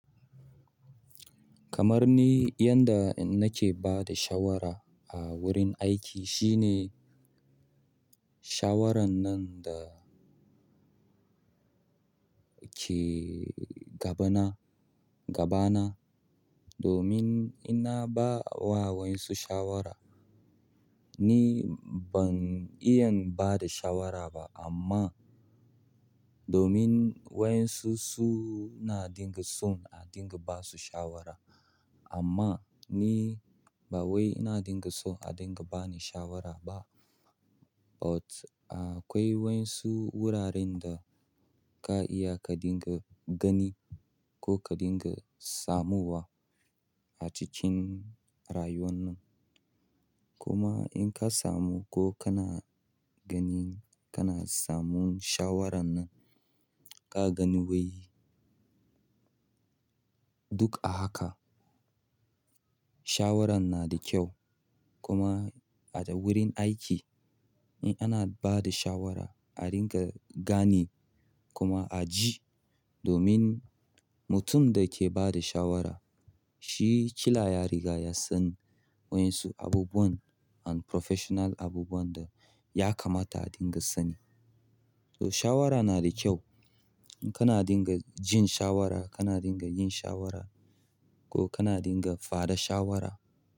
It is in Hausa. Kamar ni yadda na ke ba da shawara a wurin aiki shine shawaran nan da ke gabana, gabana. Domin ina ba wa waƴansu shawara, ni ban iya bada shawara ba amma domin waƴansu su na dinga so a dinga ba su shawara. Amma ni ba wai ina dinga so a dinga bani shawara ba. But akwai waƴansu wuraren da ka iya ka dinga gani ko ka dinga samu wa a cikin rayuwan nan. Kuma in ka samu ko kana gani kana samun shawaran nan, ka gani wai duk a haka shawaran na da kyau kuma a wurin aiki in ana bada shawara a dinga gani kuma a ji domin mutum da ke bada shawara shi chilaya riga ya san waƴansu abubuwan unprofessional abubuwan da ya kamata a dinga sani. So shawara na da kyau. In kana dinga jin shawara, kana dinga yin shawara ko kana dinga faɗar shawara.